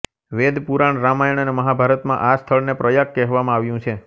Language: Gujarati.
વેદ પુરાણ રામાયણ અને મહાભારતમાં આ સ્થળને પ્રયાગ કહેવામાં આવ્યું છે